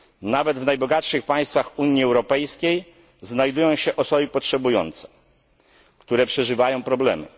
Nawet w najbogatszych państwach Unii Europejskiej znajdują się osoby potrzebujące, które przeżywają problemy.